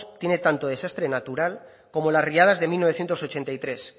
tiene tanto de desastre natural como las riadas de mil novecientos ochenta y tres